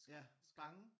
Ja bange